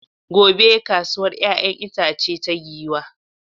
Gobe ​​kasuwar 'ya'yan itace ta Giwa.